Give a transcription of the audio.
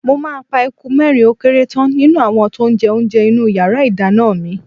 Mo máa pe eku mẹ́rin ó kéré tán nínú àwọn tó ń jẹ oúnjẹ inú yàrá ìdáná mi.